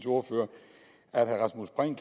ordfører at herre rasmus prehn